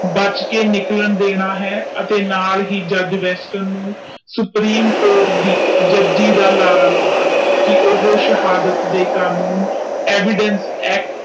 ਬਚ ਕੇ ਨਿਕਲਣ ਦੇਨਾ ਹੈ ਅਤੇ ਨਾਲ ਹੀ ਜੱਜ ਵੈਸਟਰਨ ਨੂੰ ਸੁਪਰੀਮ ਕੋਰਟ ਦੇ ਜੱਜੀ ਦਾ ਲਾਰਾ ਲਾਉਣਾ ਆ ਕਿ ਓਹੋ ਸ਼ਹਾਦਤ ਦੇ ਕਾਮ ਨੂੰ।